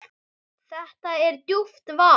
Þetta er djúpt vatn.